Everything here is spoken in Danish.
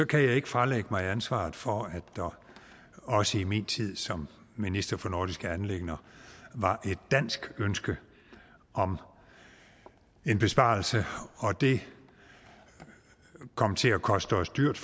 kan jeg ikke fralægge mig ansvaret for at der også i min tid som minister for nordiske anliggender var et dansk ønske om en besparelse det kom til at koste os dyrt